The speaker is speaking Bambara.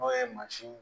N'o ye mansin